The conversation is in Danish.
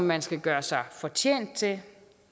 man skal gøre sig fortjent til